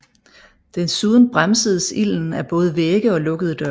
Desuden bremsedes ilden af både vægge og lukkede døre